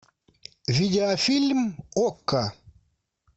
видеофильм окко